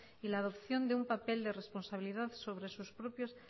y la adopción de un papel de responsabilidad sobre sus propias